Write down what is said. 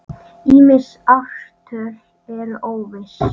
Ýmis ártöl eru óviss.